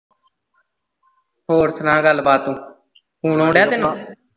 ਹੋਰ ਸੁਣਾ ਗੱਲਬਾਤ ਤੂੰ phone ਆਉਣ ਦਿਆਂ ਤੈਨੂੰ?